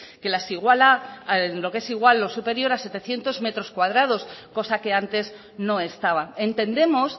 que las iguala en lo que es igual o superior a setecientos metros cuadrados cosa que antes no estaba entendemos